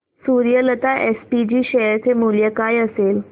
Suryalata SPG share चे मूल्य काय असेल